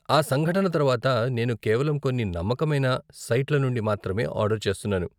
ఆ సంఘటన తర్వాత నేను కేవలం కొన్ని నమ్మకమైన సైట్ల నుండి మాత్రమే ఆర్డర్ చేస్తున్నాను.